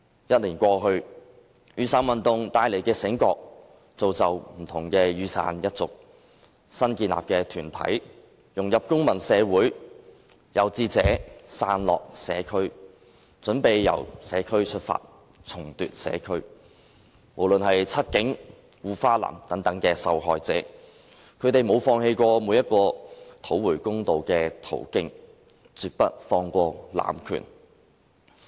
一年過去，雨傘運動帶來的醒覺，造就不同的雨傘一族，新建立的團體融入公民社會；有志者'傘落'社區，準備由社區出發，重奪社區；不論是'七警'還是'護花男'等受害者，他們沒有放棄每個討回公道的途徑，絕不放過濫權。